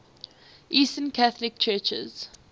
eastern catholic churches